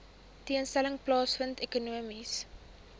tentoonstelling plaasvind ekonomiese